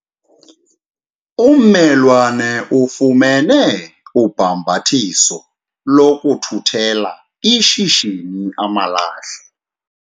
Ummelwane ufumene ubhambathiso lokuthuthela ishishini amalahle.